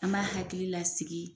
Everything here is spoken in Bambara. An b'a hakili lasigi.